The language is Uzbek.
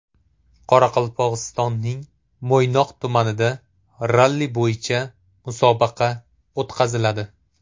Qoraqalpog‘istonning Mo‘ynoq tumanida ralli bo‘yicha musobaqa o‘tkaziladi.